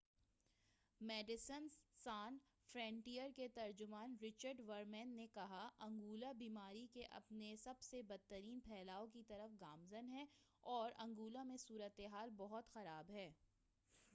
medicines Sans Frontieres کے ترجمان Richard Veerman نے کہا انگولہ بیماری کے اپنے سب سے بدترین پھیلاؤ کی طرف گامزن ہے اور انگولہ میں صورتحال بہت خراب ہے